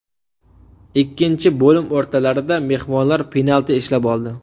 Ikkinchi bo‘lim o‘rtalarida mehmonlar penalti ishlab oldi.